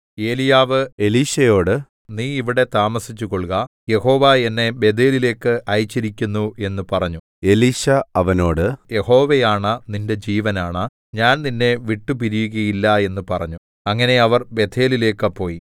ഏലീയാവ് എലീശയോട് നീ ഇവിടെ താമസിച്ചുകൊള്ളുക യഹോവ എന്നെ ബേഥേലിലേക്ക് അയച്ചിരിക്കുന്നു എന്ന് പറഞ്ഞു എലീശാ അവനോട് യഹോവയാണ നിന്റെ ജീവനാണ ഞാൻ നിന്നെ വിട്ടുപിരിയുകയില്ല എന്ന് പറഞ്ഞു അങ്ങനെ അവർ ബേഥേലിലേക്ക് പോയി